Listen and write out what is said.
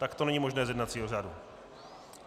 Tak to není možné z jednacího řádu.